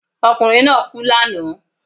Okùnrin náà kú lànáà